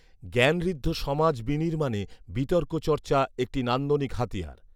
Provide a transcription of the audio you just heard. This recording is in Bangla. জ্ঞানঋদ্ধ সমাজ বিনির্মাণে বিতর্ক চর্চা একটি নান্দনিক হাতিয়ার